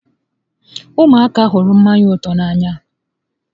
Ụmụaka hụrụ mmanya ụtọ n'anya